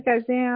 कैसे है आप